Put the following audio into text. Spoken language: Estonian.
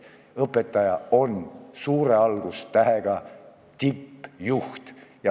Õpetaja on suure algustähega tippjuht.